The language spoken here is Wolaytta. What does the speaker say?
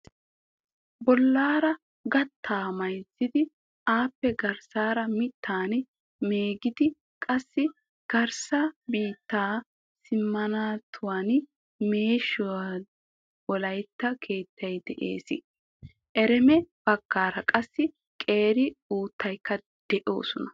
Bollaara gattaa mayzzidi appe garssaara mittan meegidi qassi garssa biittaa simminttuwan meeshido wolayitta keettay de'ees. Ereme baggaara qassi qeeri uttatikka de'oosona.